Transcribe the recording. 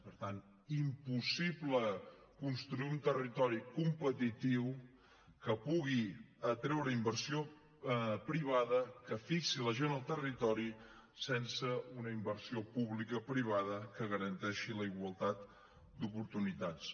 per tant impossible construir un territori competitiu que pugui atreure inversió privada que fixi la gent al territori sense una inversió publicoprivada que garanteixi la igualtat d’oportunitats